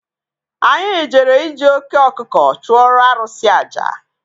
Anyị jere iji oké ọkụkọ chụọrọ arụsị àjà